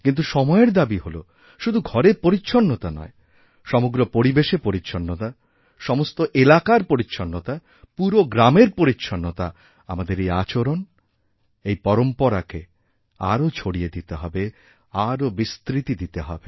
কিন্তু সময়ের দাবী হল শুধু ঘরের পরিচ্ছন্নতা নয় সমগ্র পরিবেশেরপরিচ্ছন্নতা সমস্ত এলাকার পরিচ্ছন্নতা পুরো গ্রামের পরিচ্ছন্নতা আমাদের এইআচরণ এই পরম্পরাকে আরও ছড়িয়ে দিতে হবে আরও বিস্তৃতি দিতে হবে